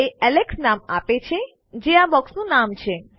તે એલેક્સ નામ આપે છે જે આ બૉક્સનું નામ છે